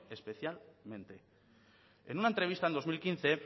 especialmente en una entrevista en dos mil quince